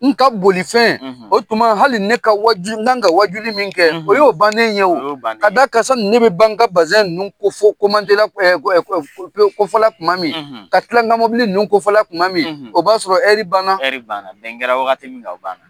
N ka boli fɛn , o tuma hali ne ka wajuli, n kan ka wajuli min kɛ , o y'o bannen ye o, ka d'a kan sani ne bɛ ban n ka bazan ninnu kofɔ kofɔ pewu tuma min kofɔla ,, ka tila n ka mɔbili ninnu kofɔla tuma min , o b'a sɔrɔ ɛɛri banna ka ban, ɛɛri banna , bɛn kɛra waati minna, o banna